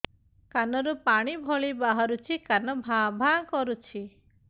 କାନ ରୁ ପାଣି ଭଳି ବାହାରୁଛି କାନ ଭାଁ ଭାଁ କରୁଛି